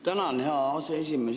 Tänan, hea aseesimees!